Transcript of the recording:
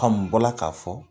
n nbɔla k'a fɔ